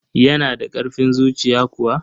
Yana da ƙarfin zuciya kuwa?